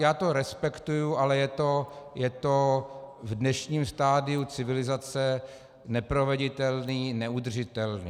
Já to respektuji, ale je to v dnešním stadiu civilizace neproveditelné, neudržitelné.